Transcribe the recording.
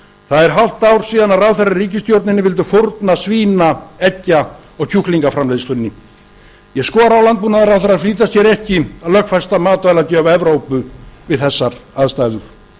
það er hálft ár síðan að ráðherrar í ríkisstjórninni vildu fórna svína eggja og kjúklingaframleiðslunni ég skora á landbúnaðarráðherra að flýta sér ekki að lögfesta matvælalöggjöf evrópu við þessar aðstæður